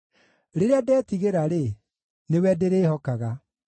Rĩrĩa ndetigĩra-rĩ, nĩwe ndĩrĩhokaga.